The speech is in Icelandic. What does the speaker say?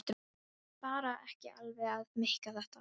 Ég var bara ekki alveg að meika þetta.